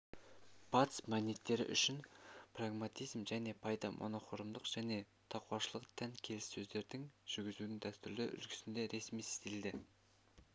батыс мәдениеттері үшін прагматизм және пайда монохромдық және тақуашылдық тән келіссөздердің жүргізудің дәстүрлі үлгісінде ресми стильді